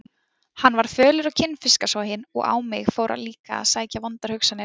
Hann varð fölur og kinnfiskasoginn og á mig fóru líka að sækja vondar hugsanir.